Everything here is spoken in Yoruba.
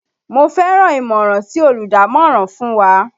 Mo fẹ́ràn ìmọ̀ràn tí olùdámọ̀ràn fún wa